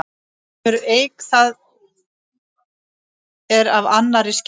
Hefur eik það er af annarri skefur.